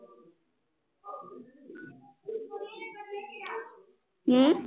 ਹਮ